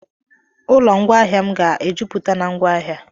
Ụlọ ngwaahịa m ga-ejupụta na ngwaahịa.